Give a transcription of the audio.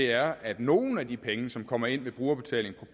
er at nogle af de penge som kommer ind ved brugerbetaling